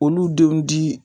U denw di